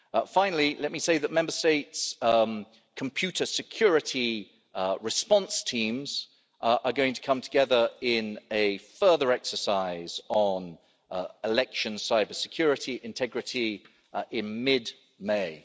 Finally, let me say that Member States' computer security response teams are going to come together in a further exercise on election cybersecurity integrity in mid May.